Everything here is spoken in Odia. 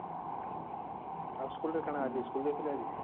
ଆଉ school ରେ କଣ school ଯାଇଥିଲ ଆଜି